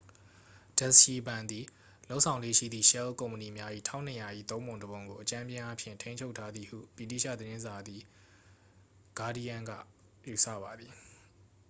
ဒက်စ်ရှီဘဏ် သည် လုပ်ဆောင်လေ့ရှိသည့် ရှဲလ်ကုမ္ပဏီများ၏ 1200၏ သုံးပုံတစ်ပုံကို အကြမ်းဖျင်းအားဖြင့် ထိန်းချုပ်ထားသည်ဟု ဗြိတိသျှသတင်းစာ သည်ဂါးဒီးရန်း က ယူဆပါသည်